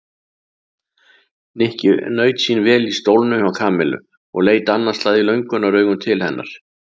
Nikki naut sín vel í stólnum hjá Kamillu og leit annað slagið löngunaraugum til hennar.